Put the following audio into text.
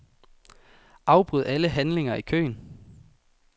Afbryd alle handlinger i køen.